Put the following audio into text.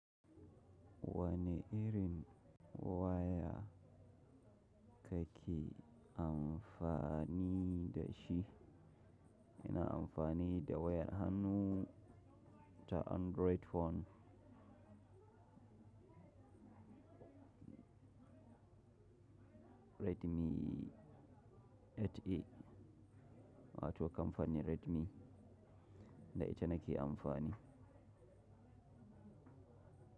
Wane irin waya kake amfani da shi? Ina amfani da wayar hannu ta Android phone Redmi 8A wato kamfanin Redmi da ita nake amfani.